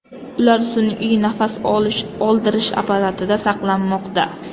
Ular sun’iy nafas oldirish apparatida saqlanmoqda.